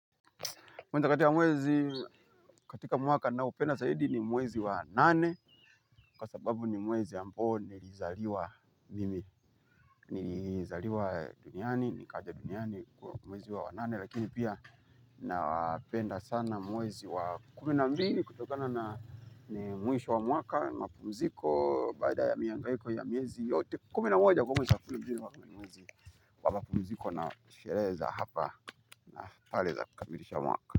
Moja kati ya mwezi katika mwaka ninaopenda zaidi ni mwezi wa nane kwa sababu ni mwezi ambao nilizaliwa mimi nilizaliwa duniani, nikaja duniani kwa mwezi wa wanane lakini pia na penda sana mwezi wa kumi na mbili kutokana na mwisho wa mwaka mapumziko baada ya mihangaiko ya miezi yote kumi na moja, kwa mapumziko na sherehe za hapa na pale za kukamilisha mwaka.